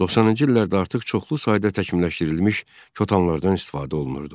90-cı illərdə artıq çoxlu sayda təkmilləşdirilmiş katanlardan istifadə olunurdu.